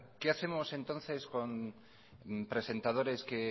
qué hacemos entonces con presentadores que